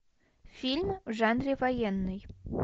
фильм в жанре военный